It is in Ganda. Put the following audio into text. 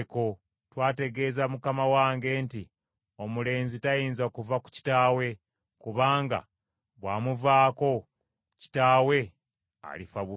Twategeeza mukama wange nti, ‘Omulenzi tayinza kuva ku kitaawe, kubanga bw’amuvaako, kitaawe alifa bufi!’